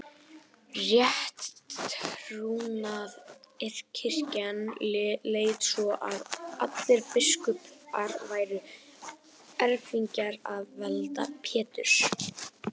Rétttrúnaðarkirkjan leit svo á að allir biskupar væru erfingjar að valdi Péturs.